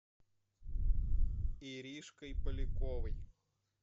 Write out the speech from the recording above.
иришкой поляковой